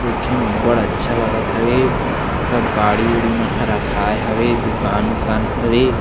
देखे म अब्बड़ अच्छा लगत हवे सब गाड़ी उड़ी मन ह रखाय हवे दुकान ऊकान हवे--